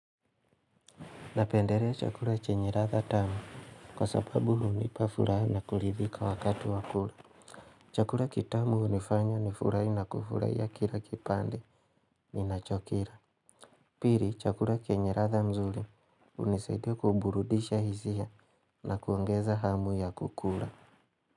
Napendelea chakula chenye ladha tamuc, kwa sababu hunipa furaha na kuridhika wakatu wa kula. Chakula kitamu hunifanya nifurahi na kufurahia kile kipande ninachokila. Pili chakula chenye ladha nzuri, hunisaidia kuburudisha hisia na kuongeza hamu ya kukula.